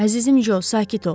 Əzizim Co, sakit ol.